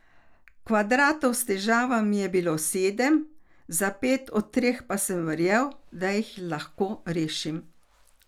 Kvadratov s težavami je bilo sedem, za pet od teh pa sem verjel, da jih lahko rešim.